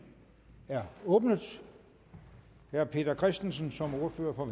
er åbnet herre peter christensen som ordfører for